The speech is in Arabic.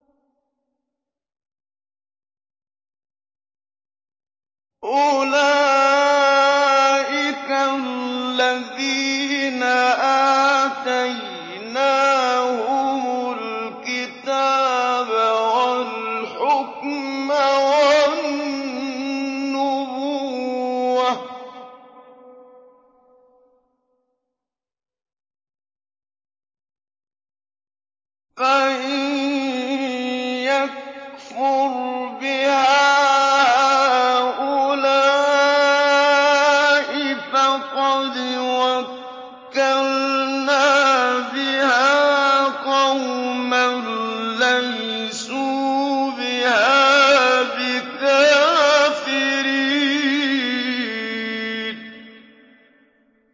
أُولَٰئِكَ الَّذِينَ آتَيْنَاهُمُ الْكِتَابَ وَالْحُكْمَ وَالنُّبُوَّةَ ۚ فَإِن يَكْفُرْ بِهَا هَٰؤُلَاءِ فَقَدْ وَكَّلْنَا بِهَا قَوْمًا لَّيْسُوا بِهَا بِكَافِرِينَ